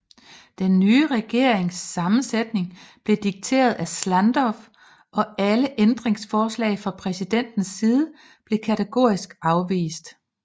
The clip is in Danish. Den nye regerings sammensætning blev dikteret af Ždanov og alle ændringsforslag fra præsidentens side blev kategorisk afvist